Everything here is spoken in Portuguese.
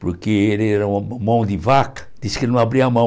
Porque ele era um um mão de vaca, disse que não abria a mão.